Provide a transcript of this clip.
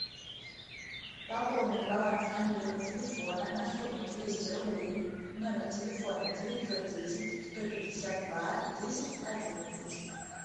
пополнить баланс мобильного телефона на сумму двести рублей номер телефона девятьсот десять сто пятьдесят два десять одиннадцать